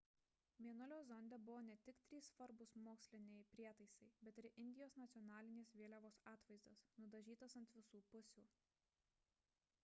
mėnulio zonde buvo ne tik trys svarbūs moksliniai prietaisai bet ir indijos nacionalinės vėliavos atvaizdas nudažytas ant visų pusių